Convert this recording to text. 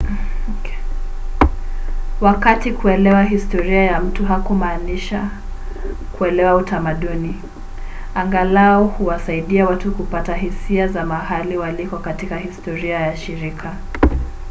wakati kuelewa historia ya mtu hakumaanishi kuelewa utamaduni angalau huwasaidia watu kupata hisia za mahali waliko katika historia ya shirika